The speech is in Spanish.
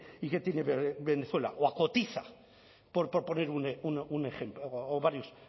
y que tiene venezuela o a cotiza por poner un ejemplo o varios